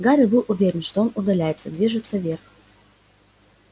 гарри был уверен что он удаляется движется вверх